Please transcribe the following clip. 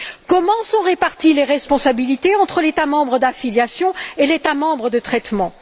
Comment sont réparties les responsabilités entre l'État membre d'affiliation et l'État membre de traitement?